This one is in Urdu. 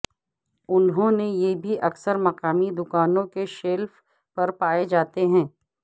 انہوں نے یہ بھی اکثر مقامی دکانوں کے شیلف پر پائے جاتے ہیں